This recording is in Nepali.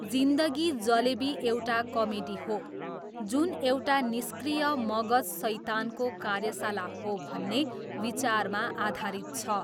जिन्दगी जलेबी एउटा कमेडी हो जुन एउटा निष्क्रिय मगज सैतानको कार्यशाला हो भन्ने विचारमा आधारित छ।